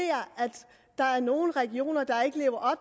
der er nogle regioner der ikke lever